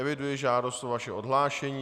Eviduji žádost o vaše odhlášení.